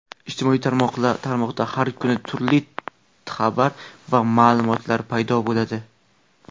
Ijtimoiy tarmoqda har kuni turli xabar va ma’lumotlar paydo bo‘ladi.